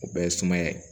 O bɛɛ ye suma ye